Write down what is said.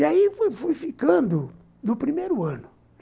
E aí fui fui ficando no primeiro ano.